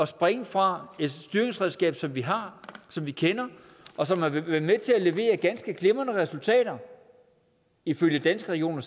springe fra et styringsredskab som vi har som vi kender og som har været med til at levere ganske glimrende resultater ifølge danske regioner